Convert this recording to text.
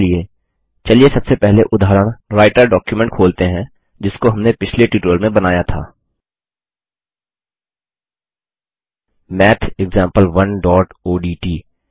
इसके लिए चलिए सबसे पहले उदाहरण राईटर डॉकुमेंट जिसको हमने पिछले ट्यूटोरियल में बनाया था mathexample1ओडीटी